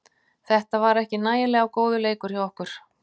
Þetta var ekki nægilega góður leikur hjá okkur.